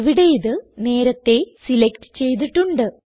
ഇവിടെ ഇത് നേരത്തേ സിലക്റ്റ് ചെയ്തിട്ടുണ്ട്